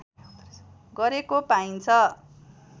गरेको पाइन्छ